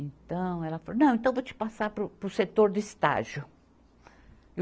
Então, ela falou, não, então vou te passar para o, para o setor de estágio.